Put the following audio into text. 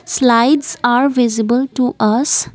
slides are visible to us.